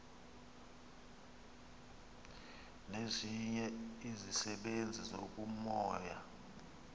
nezinye izisebenzi zobumoya